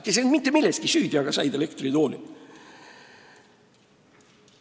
Nad ei olnud mitte milleski süüdi, aga saadeti elektritoolile.